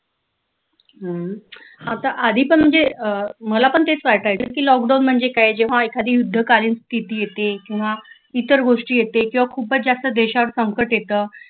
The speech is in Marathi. हम्म आता आधी पण म्हणजे अं मला पण तेच वाटायचं की लॉकडाऊन म्हणजे काय जेव्हा एखादी युद्धकालीन स्तिथी येते किंवा इतर गोष्टी येते किंवा खूपच जास्त देशावर संकट येत